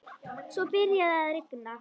Svo byrjaði að rigna.